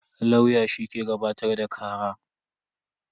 Lauya shi ke gabatar da kara.